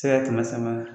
Se ka kɛmɛ sama